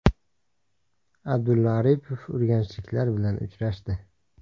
Abdulla Aripov urganchliklar bilan uchrashdi.